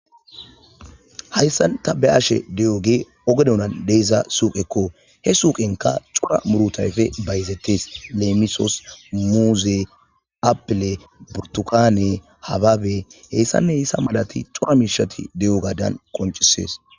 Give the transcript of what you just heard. Hayssan ta be'ashe de'iyoge oge doonan de'iza suuqqekoo. He suuqqenika cora murutha ayfi bayzettees, leemisoos muuze, applee, burtukaane, hababe, hayssane hayssa malathi cora mishati de'iyogadan qonchissees.